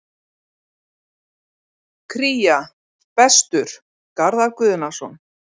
Kría: Bestur: Garðar Guðnason